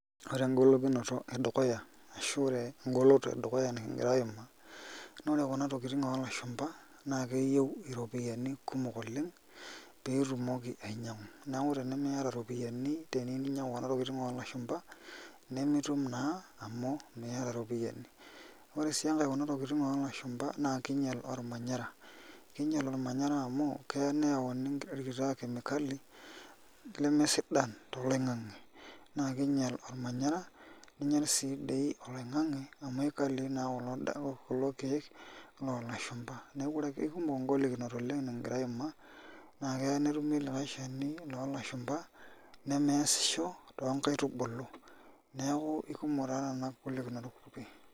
Ore engolikinoto edukuya ashu engoloto edukuya nikingira aimaa, na ore kuna tokitin olashumba na keyieu ropiyani kumok oleng pitumoki ainyangu ropiyani tenimiata olashumba nimitum na amu meeta iropiyiani, ore taa enkae kunatokitin olashumba na kinyal ormanyara, kinyal ormanyara amu keya neani enkiti chemicali lemesidan toloingani na kinyal ormanyara ninyal si dei oloingangi amu kulo kiek lolashumba, neakubkekumok ngolikinot nikingira aimaa na keya netumi likae shani lolashumba nemeaisho tonkaitubuluneaku kekumok ngolikinot.